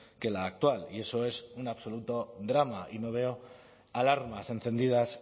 que la actual y eso es un absoluto drama y no veo alarmas encendidas